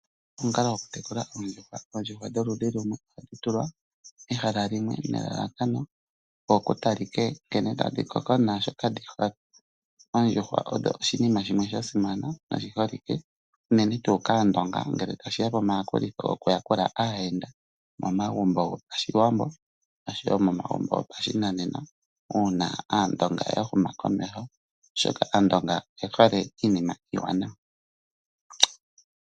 Omukalo gokutekula oondjuhwa. Oondjuhwa dholudhi lumwe hadhi tulwa mehala limwe, nelalakano opo ku takike nkene tadhi koko naashoka dhi hole. Oondjuhwa odho oshinima shimwe sha simana noshi holike unene tuu kaaNdonga ngele tashi ya komayakulitho gokuyakula aayenda momagumbo gopaShiwambo, noshowo momagumbo gopashinanena uuna Aandonga ya huma komeho. Oshoka Aandonga oye hole iinima iiwanawa.